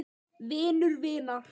Vinur vinar?